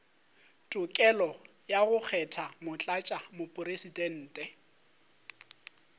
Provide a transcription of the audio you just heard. tokelo ya go kgetha motlatšamopresidente